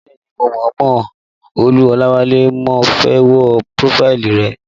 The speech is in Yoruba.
Bẹ́ẹ̀ni mo mọ Olú Olawale, mo fẹ́ wo prófáìlì rẹ̀